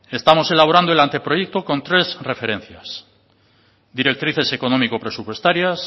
estamos elaborando el anteproyecto con tres referencias directrices económico presupuestarias